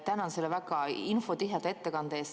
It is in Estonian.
Tänan selle väga infotiheda ettekande eest.